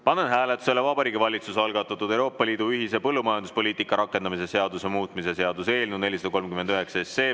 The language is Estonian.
Panen hääletusele Vabariigi Valitsuse algatatud Euroopa Liidu ühise põllumajanduspoliitika rakendamise seaduse muutmise seaduse eelnõu 439.